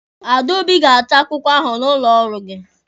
Adaobi ga-achọ akwụkwọ ahụ n'ụlọ ọrụ gị.